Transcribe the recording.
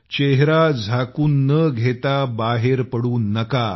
चेहरा झाकून न घेता बाहेर पडू नका